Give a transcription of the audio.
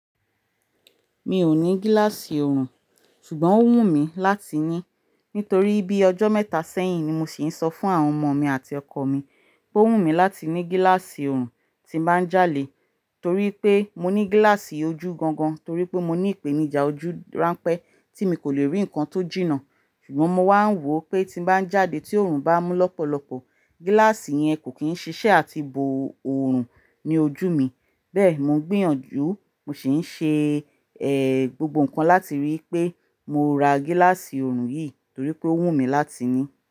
Mi ò ní gíláàsì ọrùn, ṣùgbọ́n ó wù mí láti ní. Nítorí bí ọjọ́ mẹ́ta sẹ́yìn ni mo sì ń sọ fún àwọn ọmọ mi àti ọkọ mi pé ó wù mí láti ní gíláàsì ọrùn tí bá ń jáde, torí pé mo ní gíláàsì ojú gangan torí pé mo ní ìpènijà ojú ránpẹ́ tí mi kò le rí ǹkan tó jìnnà. Ṣùgbọ́n mo máa ń wò ó pé tí bá ń jáde tí ọrùn bá mú lọ́pọ̀lọpọ̀, gíláàsì yẹn kò kí ń ṣiṣẹ́ àti bo ọrùn ní ojú mi. Bẹ́ẹ̀ ni mò ń gbìyànjú, mo sì ń ṣe, ẹ, gbogbo ǹkan láti rí i pé mo ra gíláàsì ọrùn yìí torí pé ó wù mí láti ní.